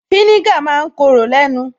Fínígà ma ń korò lẹ́nu